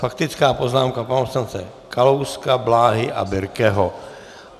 Faktická poznámka pana poslance Kalouska, Bláhy a Birkeho.